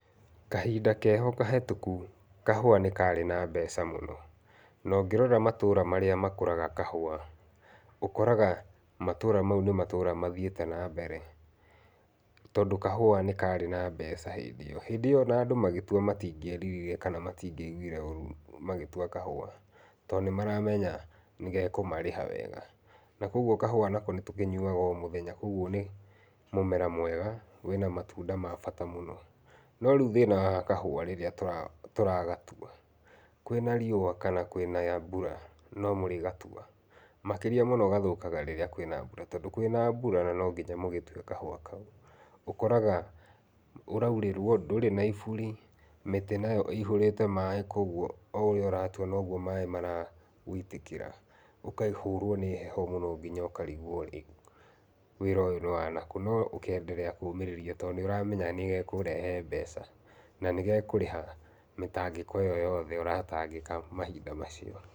Kahinda keho kahĩtũku kahua nĩ karĩ na mbeca mũno, nongĩrora matũra marĩa makũraga kahũa, ũkoraga matũra mau nĩ matũra mathiĩte na mbere tondũ kahũa nĩkarĩ na mbeca hĩndĩ ĩyo, hĩndĩ ĩyo ona andũ matingĩeririre kana matingĩaiguire ũru magĩtua kahũa tondũ nĩmaramenya nĩgekũmarĩha wega, nakoguo kahũa nako nĩtũkĩnyuaga o mũthenya koguo nĩ mũmera mwega wĩna matunda ma bata mũno, no rĩu thĩna wa kahũa rĩrĩa tũra tũragatua kwĩna riũa kana kwĩna mbura nomũrĩgatua, makĩria mũno gathũkaga rĩrĩa kwĩna mbura tondũ kwĩna mbura nonginya mũgĩtue kahũa kau, ũkoraga ũraurĩrwo ndũrĩ na iburi, mĩtĩ nayo ihũrĩte maĩ koguo o ũratua noguo maĩ maragũitĩkĩra, ũkahũrwo nĩ heho mũno nginya ũkarigwo rĩ wĩra ũyũ nĩ wanakũ, no ũka endelea kũmĩrĩria tondũ nĩũramenya nĩgekũrehe mbeca na nĩgekũrĩha mĩtangĩko ĩyo yothe ũratangĩka mahinda macio.